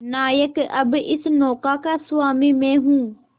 नायक अब इस नौका का स्वामी मैं हूं